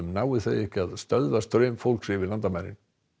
nái þau ekki að stöðva straum fólks yfir landamærin